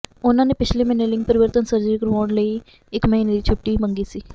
ਉਨ੍ਹਾਂ ਨੇ ਪਿਛਲੇ ਮਹੀਨੇ ਲਿੰਗ ਪਰਿਵਰਤਨ ਸਰਜਰੀ ਕਰਵਾਉਣ ਲਈ ਇੱਕ ਮਹੀਨੇ ਦੀ ਛੁੱਟੀ ਮੰਗੀ ਸੀ